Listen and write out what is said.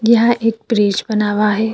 यहाँ एक ब्रिज बना हुआ है।